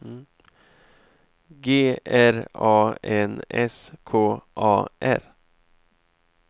G R A N S K A R